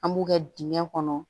An b'u kɛ dingɛ kɔnɔ